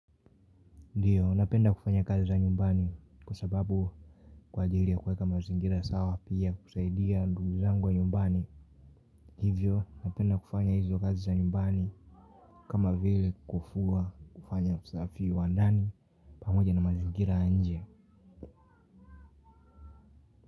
Ndiyo napenda kufanya kazi za nyumbani kwa sababu kwa ajiri ya kuweka mazingira sawa pia kusaidia ndugu zangu wa nyumbani. Hivyo napenda kufanya hizo kazi za nyumbani kama vile kufuwa kufanya usafi wa ndani pamoja na mazingira ya nje.